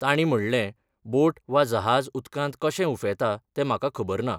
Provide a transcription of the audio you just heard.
तांणी म्हणलें, बोट वा जहाज उदकांत कशें उफेंता तें म्हाका खबर ना.